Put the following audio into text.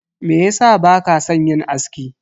Meyasa baka san yin aski?